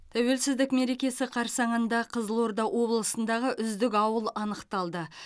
тәуелсіздік мерекесі қарсаңында қызылорда облысындағы үздік ауыл анықталды